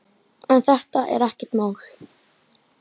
En þetta er ekkert mál.